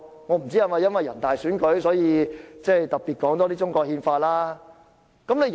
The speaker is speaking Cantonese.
我不知道是否由於人大選舉臨近，所以特別多談中國憲法。